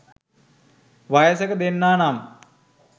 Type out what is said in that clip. වයසක දෙන්නා නම්